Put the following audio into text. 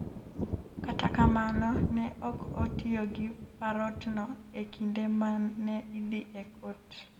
Kata kamano, ne ok otiyo gi parrotno e kinde ma ne idhi e kot.